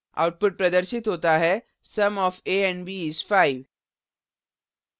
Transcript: output प्रदर्शित होता है sum of a and b is 5